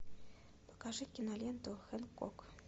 покажи киноленту хэнкок